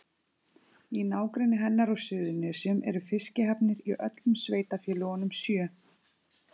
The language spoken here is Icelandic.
Í nágrenni hennar á Suðurnesjum eru fiskihafnir í öllum sveitarfélögunum sjö.